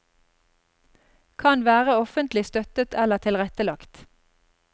Kan være offentlig støttet eller tilrettelagt.